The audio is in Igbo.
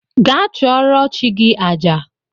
Gaa chụrụo chi gi àjà